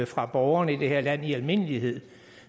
fra borgerne i det her land i almindelighed